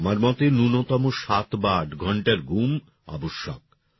আমার মতে ন্যূনতম সাত বা আট ঘন্টার ঘুম আবশ্যক